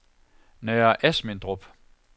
Nørre Asmindrup